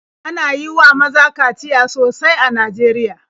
Ana yi wa maza kaciya sosai a Najeriya.